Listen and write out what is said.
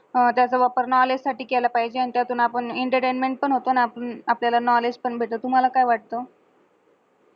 त्याच वापर knowledge साटी केल पाहिजे आणि त्यातून आपण एंटरटेनमेंट होतो आपण आपल्याला knowledge पण भेटत आणि तुम्हाला काय वाटतंय